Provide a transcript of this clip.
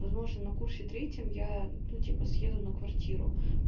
возможно на курсе третьем я ну типа съеду на квартиру